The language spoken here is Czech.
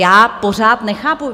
Já pořád nechápu.